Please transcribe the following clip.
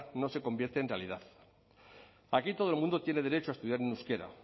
no se convierte en realidad aquí todo el mundo tiene derecho a estudiar en euskera